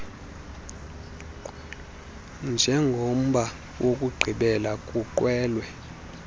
njengomba wokugqibela kwiqwewe